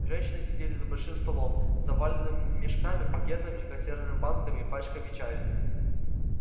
женщины сидели за большим столом заваленным мешками пакетами консервными банками и пачками чая